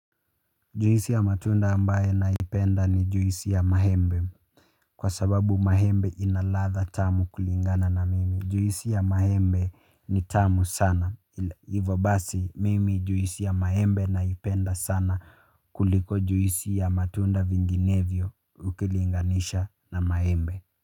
Juhisi ya matunda ambaye naipenda ni juhisi ya mahembe kwa sababu mahembe inaladha tamu kulingana na mimi. Juhisi ya mahembe ni tamu sana. Ivo basi mimi juhisi ya mahembe naipenda sana kuliko juhisi ya matunda vinginevio ukilinganisha na mahembe.